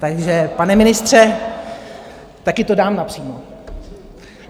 Takže, pane ministře, taky to dám napřímo.